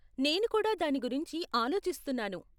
నేను కూడా దాని గురించి ఆలోచిస్తున్నాను.